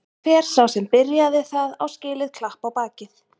Hver sá sem byrjaði það á skilið klapp á bakið.